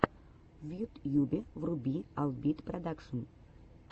в ютьюбе вруби албит продакшн